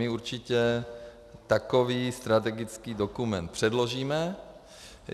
My určitě takový strategický dokument předložíme.